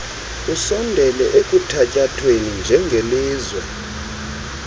usondele ekuthatyathweni njengelizwe